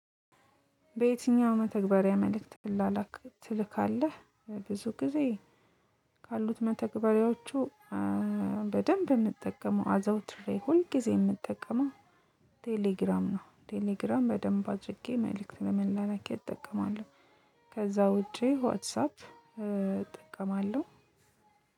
በየትኛው መተግበሪያ መልእክት ትላላክ ትልካለህ? ብዙ ጊዜ ካሉት መተግበሪያዎቹ በደንብ የምጠቀመው አዘውትሬ ሁልጊዜ የምጠቀመው ቴሌግራም ነው ቴሌግራም በደንብ አጭቄ መልእክት ለመላላኪያ እጠቀመዋለሁ ከዛ ውጪ ዋትሳፕ እጠቀማለሁ።